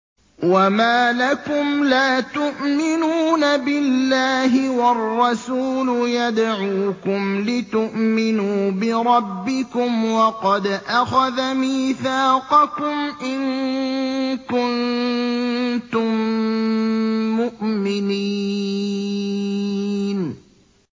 وَمَا لَكُمْ لَا تُؤْمِنُونَ بِاللَّهِ ۙ وَالرَّسُولُ يَدْعُوكُمْ لِتُؤْمِنُوا بِرَبِّكُمْ وَقَدْ أَخَذَ مِيثَاقَكُمْ إِن كُنتُم مُّؤْمِنِينَ